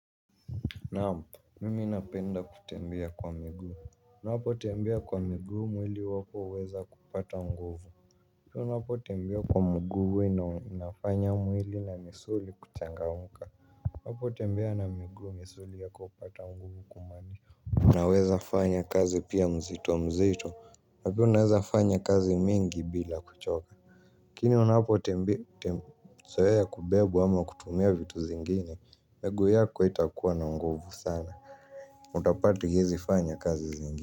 Naam mimi napenda kutembea kwa miguu. Unapotembea kwa miguu mwili wako huweza kupata nguvu unapotembea kwa mguu inafanya mwili na misuli kuchangamka. Unapotembea na miguu misuli yako hupata nguvu kumanisha unawezafanya kazi pia mzito mzito na pia unawezafanya kazi mingi bila kuchoka. Kimya unapo tembea. Zoea kubebwa ama kutumia vitu zingine miguu yako haitakuwa na nguvu sana utapata haiezifanya kazi zingine.